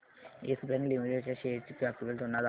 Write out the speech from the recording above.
yes Bank Limited च्या shares ची graphical तुलना दाखव